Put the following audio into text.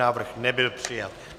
Návrh nebyl přijat.